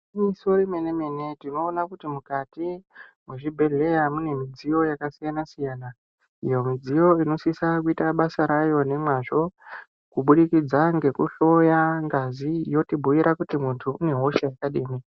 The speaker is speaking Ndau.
Igwiniyiso remene-mene tinoona kuti mukati mwezvibheheya mune midziyo yakasiyana-siyana iyo midziyo inosisa kuita basa rayo nemwazvo kuburikidza nekuhloya ngazi yotibhuira kuti muntu unehosha yakadini.